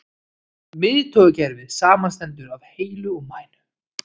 Miðtaugakerfið samanstendur af heila og mænu.